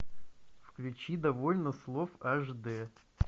включи довольно слов аш д